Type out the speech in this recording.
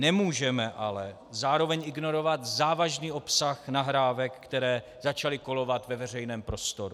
Nemůžeme ale zároveň ignorovat závažný obsah nahrávek, které začaly kolovat ve veřejném prostoru.